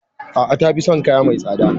A'a. Tafi son kaya mai tsada.